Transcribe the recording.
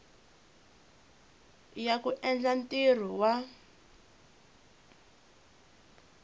ya ku endla ntirho wa